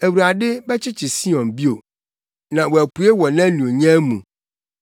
Awurade bɛkyekyere Sion bio, na wapue wɔ nʼanuonyam mu.